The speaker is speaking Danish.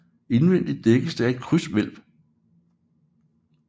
Indvendig dækkes det af et krydshvælv